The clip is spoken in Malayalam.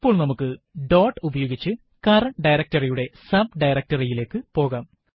ഇപ്പോൾ നമുക്ക് ഡോട്ട് ഉപയോഗിച്ച് കറന്റ് directory യുടെ subdirectory യിലേക്ക് പോകാം